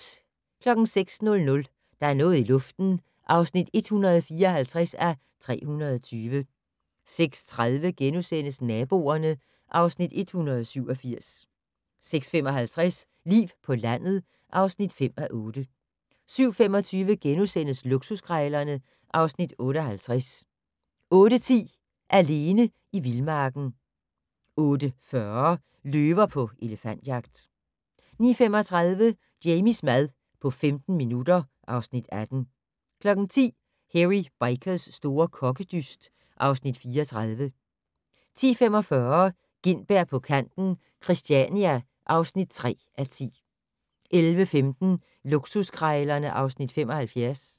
06:00: Der er noget i luften (154:320) 06:30: Naboerne (Afs. 187)* 06:55: Liv på landet (5:8) 07:25: Luksuskrejlerne (Afs. 58)* 08:10: Alene i vildmarken 08:40: Løver på elefantjagt 09:35: Jamies mad på 15 minutter (Afs. 18) 10:00: Hairy Bikers' store kokkedyst (Afs. 34) 10:45: Gintberg på kanten - Christiania (3:10) 11:15: Luksuskrejlerne (Afs. 75)